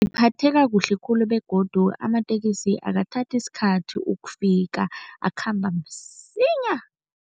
Kuhle khulu begodu amatekisi akathathi isikhathi ukufika, akhamba msinya.